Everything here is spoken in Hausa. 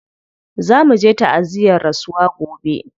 Za muje ta'aziyyar rasuwa gobe.